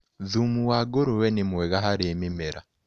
Thumu wa ngũrũwe nĩ mwega harĩ mĩmera.